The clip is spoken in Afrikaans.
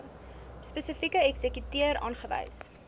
spesifieke eksekuteur aanwys